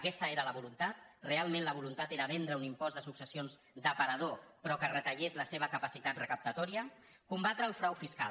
aquesta era la voluntat realment la voluntat era vendre un impost de successions d’aparador però que retallés la seva capacitat recaptatòria combatre el frau fiscal